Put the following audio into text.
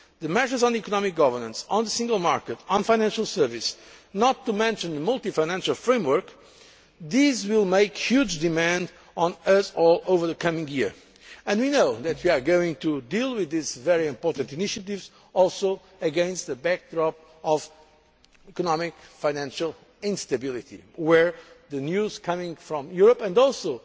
on the table. The measures on economic governance, on the single market, on financial services, not to mention the multi annual financial framework, will make huge demands on us all over the coming year, and we know that we are also going to deal with these very important initiatives against a backdrop of economic financial instability, where the news coming from